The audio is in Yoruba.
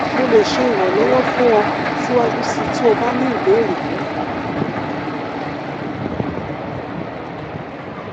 mo le ṣe iranlọwọ fun ọ siwaju sii ti o ba ni ibeere miiran